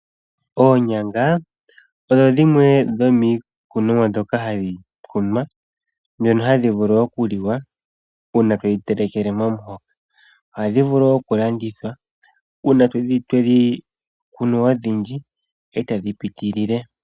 Oonyanga odho dhimwe dhomiikunomwa ndhoka hadhi kunwa . Ndhono hadhi vulu oku liwa uuna todhi telekele momuhoka. Ohadhi vulu oku landithwa uuna twedhi kunu odhindji eta dhi piitilile.